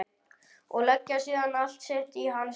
Og leggja síðan allt sitt í hans hendur.